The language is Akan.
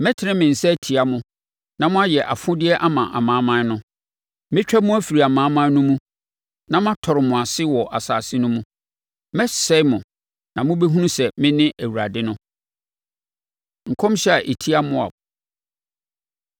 mɛtene me nsa atia mo na moayɛ afodeɛ ama amanaman no. Mɛtwa mo afiri amanaman no mu na matɔre mo ase wɔ nsase no mu. Mɛsɛe mo na mobɛhunu sɛ mene Awurade no.’ ” Nkɔmhyɛ A Ɛtia Moab